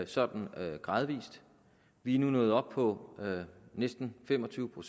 sådan gradvis vi er nu nået op på næsten fem og tyve